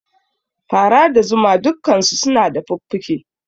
Fara da zuma dukkansu suna da fuffuke